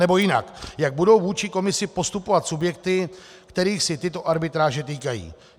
Anebo jinak: Jak budou vůči komisi postupovat subjekty, kterých se tyto arbitráže týkají.